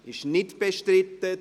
– Es ist nicht bestritten.